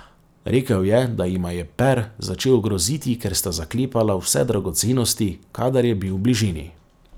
Rekel je, da jima je Per začel groziti, ker sta zaklepala vse dragocenosti, kadar je bil v bližini.